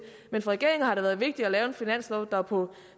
men for regeringen har det været vigtigt at lave en finanslov der på